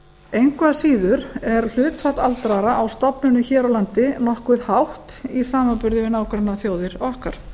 engu að síður er hlutfall aldraðra á stofnunum hér á landi nokkuð hátt í samanburði nágrannaþjóðir okkar